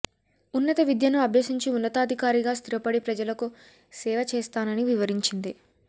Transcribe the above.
ఉన్నత విద్యను అభ్యసించి ఉన్నతాధికారిగా స్థిరపడి ప్రజలకు సేవ చేస్తానని వివరించింది